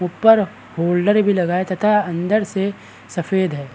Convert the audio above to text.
ऊपर होल्डर भी लगाया है तथा अन्दर से सफ़ेद है।